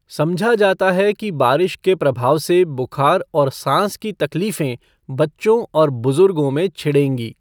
समझा जाता है कि बारिश के प्रभाव से बुखार और सांस की तकलीफें बच्चों और बुज़ुर्गों में छिड़ेंगी।